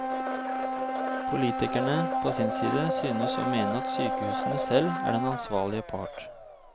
Politikerne på sin side synes å mene at sykehusene selv er den ansvarlige part.